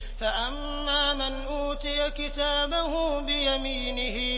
فَأَمَّا مَنْ أُوتِيَ كِتَابَهُ بِيَمِينِهِ